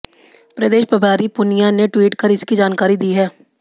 प्रदेश प्रभारी पुनिया ने ट्वीट कर इसकी जानकारी दी है